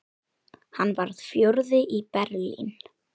Hann varð fjórði í Berlín.